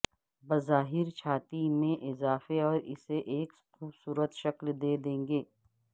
بظاہر چھاتی میں اضافے اور اسے ایک خوبصورت شکل دے دیں گے